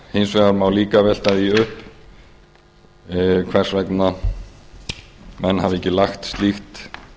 hins vegar má líka velta því upp hvers vegna menn hafi ekki lagt slíkt